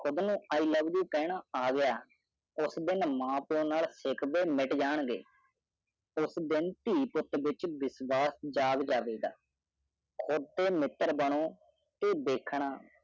ਕੁੜ੍ਹ ਨੂੰ i love you ਕਹਿਣਾ ਆਗਯਾ ਉਸ ਦਿਨ ਮਾਂ ਪਿਯੋ ਨਾਲ ਸ਼ਿਕਵੇ ਮੀਤ ਜਾਂ ਗੇ ਉਸ ਦਿਨ ਤੀ ਪੁੱਟ ਵਿਚ ਵਿਸ਼ਵਾਸ ਜਾਗ ਜਾਵੇਗਾ ਕੁੜ੍ਹ ਦੇ ਮਿੱਤਰ ਬਣੋ ਤੇ ਦੇਖਣਾ